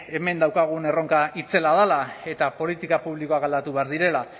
hemen daukagun erronka itzela dela eta politika publikoak aldatu behar direla